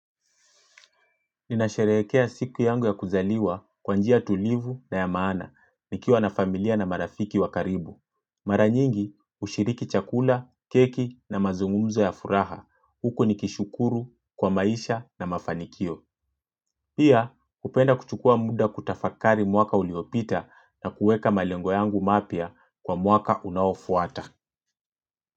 Ninasherehekea siku yangu ya kuzaliwa kwa njia tulivu na ya maana nikiwa na familia na marafiki wa karibu. Mara nyingi hushiriki chakula, keki na mazungumzo ya furaha. Huku nikishukuru kwa maisha na mafanikio. Pia hupenda kuchukua muda kutafakari mwaka uliopita na kuweka malengo yangu mapya kwa mwaka unaofuata.